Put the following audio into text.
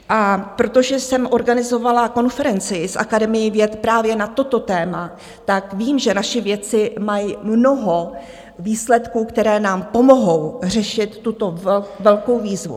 A protože jsem organizovala konferenci s Akademií věd právě na toto téma, tak vím, že naši vědci mají mnoho výsledků, které nám pomohou řešit tuto velkou výzvu.